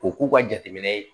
Ko k'u ka jateminɛ